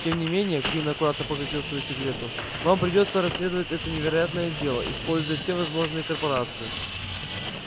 тем не менее куинн аккуратно погасил свою сигарету вам придётся расследовать это невероятное дело используя все возможные корпорации